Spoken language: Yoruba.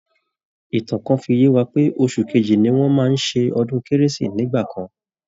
Ìtan kan fi yé wa pé oṣù kejì ni wọ́n máa ń ṣe ọdún kérésì nígbà kan